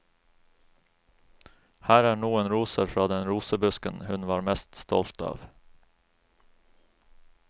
Her er noen roser fra den rosebusken hun var mest stolt av.